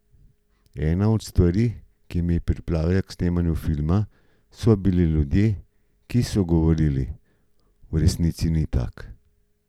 Ena od stvari, ki me je pripravila k snemanju filma, so bili ljudje, ki so govorili: 'V resnici ni tak.